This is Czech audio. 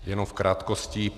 Jenom v krátkosti.